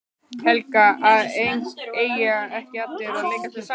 Helga: En eiga ekki allir að leika sér saman?